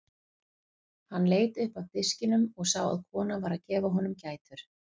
Hann leit upp af diskinum og sá að kona var að gefa honum gætur.